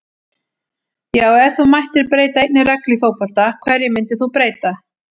Já Ef þú mættir breyta einni reglu í fótbolta, hverju myndir þú breyta?